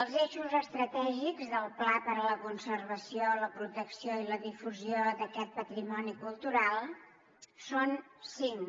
els eixos estratègics del pla per a la conservació la protecció i la difusió d’aquest patrimoni cultural són cinc